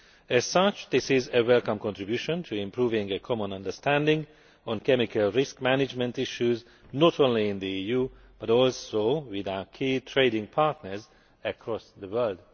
As such, this is a welcome contribution to improving the common understanding on chemical risk management issues, not only in the EU but also with our key trading partners across the world.